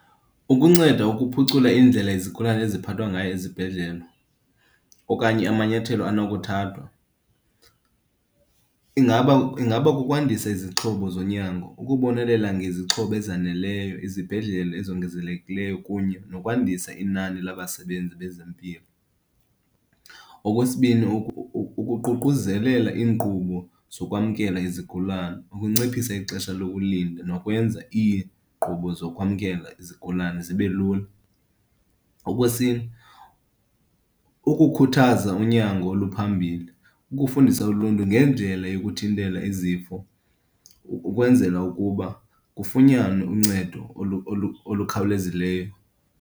Ukunceda ukuphucula indlela izigulane eziphathwa ngayo ezibhedlele okanye amanyathelo anokuthathwa, ingaba ingaba kukwandisa izixhobo zonyango, ukubonelela ngezixhobo ezaneleyo, izibhedlele ezongezelekileyo kunye nokwandisa inani labasebenzi bezempilo. Okwesibini, ukuququzelela iinkqubo zokwamkela izigulane, ukunciphisa ixesha lokulinda nokwenza iinkqubo zokwamkela izigulane zibe lula. Okwesine, ukukhuthaza unyango oluphambili, ukufundisa uluntu ngendlela yokuthintela izifo ukwenzela ukuba kufunyanwe uncedo olukhawulezileyo.